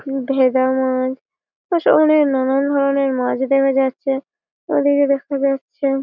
ভেদা মাছ সব অনেক নানান ধরণের মাছ দেখা যাচ্ছে। আর ওদিকে দেখা যাচ্ছে।